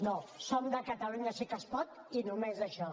no som de catalunya sí que es pot i només d’això